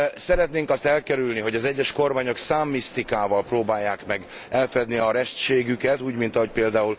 Szeretnénk elkerülni, hogy az egyes kormányok számmisztikával próbálják meg elfedni restségüket, úgy mint ahogy pl.